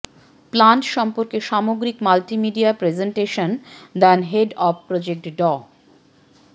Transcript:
plant সম্পর্কে সামগ্রিক multimedia presentation দেন হেড অব প্রজেক্ট ড